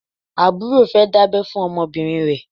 Àbúrò fẹ́ dábẹ́ fún ọmọbìnrin rẹ̀.